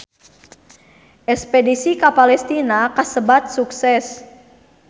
Espedisi ka Palestina kasebat sukses